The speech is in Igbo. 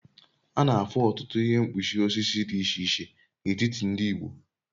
A na-afụ ọtụtụ ihe mkpuchi osisi dị iche iche n'etiti ndị Igbo